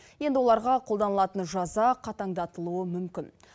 енді оларға қолданылатын жаза қатаңдатылуы мүмкін